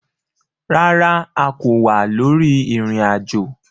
Rárá, a kò wà lórí ìrìn ajo